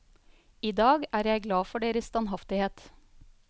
I dag er jeg glad for deres standhaftighet.